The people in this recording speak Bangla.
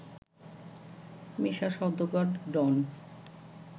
মিশা সওদাগর, ডন